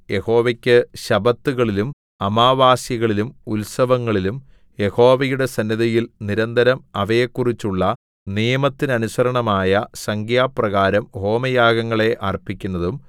യഹോവയ്ക്കു ശബ്ബത്തുകളിലും അമാവാസ്യകളിലും ഉത്സവങ്ങളിലും യഹോവയുടെ സന്നിധിയിൽ നിരന്തരം അവയെക്കുറിച്ചുള്ള നിയമത്തിനനുസരണമായ സംഖ്യപ്രകാരം ഹോമയാഗങ്ങളെ അർപ്പിക്കുന്നതും